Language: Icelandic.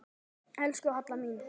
Elsku Halla mín.